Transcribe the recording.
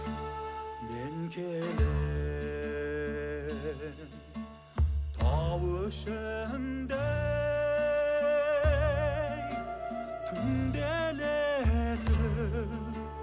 мен келем тау ішінде ей түнделетіп